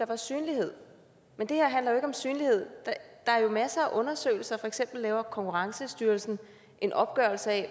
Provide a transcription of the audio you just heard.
var synlighed men det her handler ikke om synlighed der er jo masser af undersøgelser for eksempel laver konkurrencestyrelsen en opgørelse af